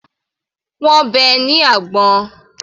Wọ́n bẹ́ ẹ ní àgbọ̀n.